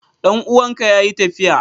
Dan uwanka yayi tafiya?